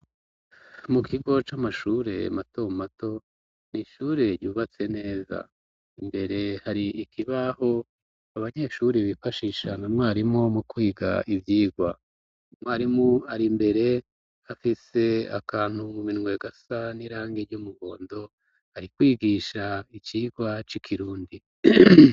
mu kigo c'amashure mato mato ni ishure ryubatse neza imbere hari ikibaho abanyeshuri bifashisha na nwarimu mu kwiga ibyigwa umwarimu ari imbere afise akantu mu minwe gasa n'irangi ry'umuhondo ari kwigisha icigwa c'ikirundi